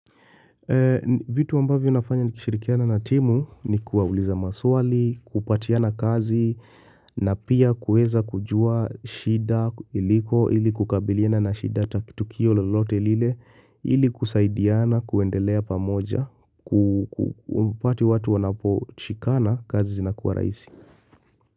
Vitu ambavyo nafanya ni kishirikiana na timu ni kuwa uliza maswali, kupatiana kazi, na pia kuweza kujua shida iliko ili kukabiliana na shida taki tukio lolote lile ili kusaidiana kuendelea pamoja, ku kumpati watu wanapo shikana kazi zinakuwa rahisi.